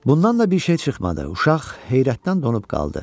Bundan da bir şey çıxmadı, uşaq heyrətdən donub qaldı.